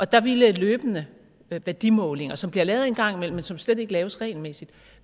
der ville løbende værdimålinger som bliver lavet en gang imellem men som slet ikke laves regelmæssigt